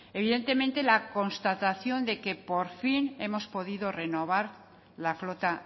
evidentemente la constatación de que por fin hemos podido renovar la flota